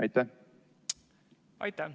Aitäh!